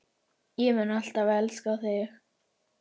Ég mun alltaf elska þig.